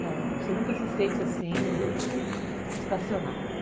Você nunca se sente, assim, estacionada.